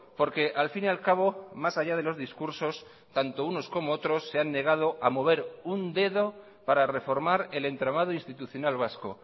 porque al fin y al cabo más allá de los discursos tanto unos como otros se han negado a mover un dedo para reformar el entramado institucional vasco